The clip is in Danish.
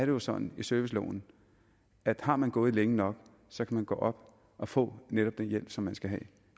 jo sådan i serviceloven at har man gået længe nok så kan man gå op og få netop den hjælp som man skal have